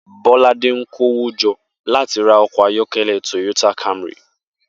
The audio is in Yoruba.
Bóládé ń kó owó jo̩ láti ra o̩kò̩ ayó̩ké̩lé̩ Toyota Camry